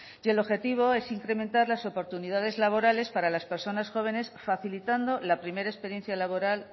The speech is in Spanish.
y el objetivo es incrementar las oportunidades laborales para las personas jóvenes facilitando la primera experiencia laboral